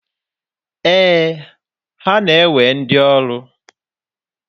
Ee, ha na-ewe ndi ọrụ.